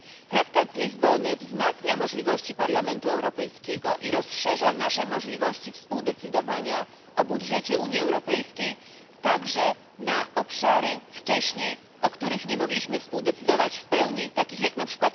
Traktat z Lizbony wzmacnia możliwości Parlamentu Europejskiego i rozszerza nasze możliwości współdecydowania o budżecie Unii Europejskiej także na obszary, o których wcześniej nie mogliśmy współdecydować w pełni, takie jak np.